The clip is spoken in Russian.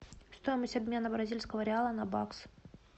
стоимость обмена бразильского реала на бакс